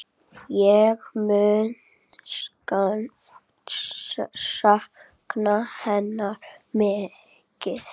Ég mun sakna hennar mikið.